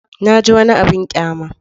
Na ji wani abin ƙyama.